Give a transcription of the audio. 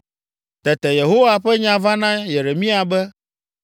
Tete Yehowa ƒe nya va na Yeremia be,